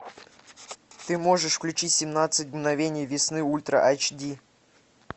ты можешь включить семнадцать мгновений весны ультра айч ди